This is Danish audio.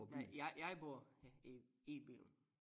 Nej jeg jeg bor her i Billund